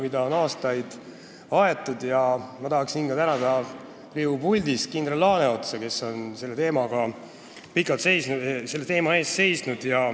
Seda on aastaid aetud ja ma tahaksin tänada siit Riigikogu puldist ka kindral Laaneotsa, kes on selle teema eest pikalt seisnud.